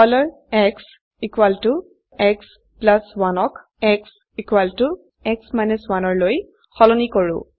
xx1 ক xx 1লৈ সলনি কৰো